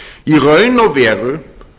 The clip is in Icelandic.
í raun og veru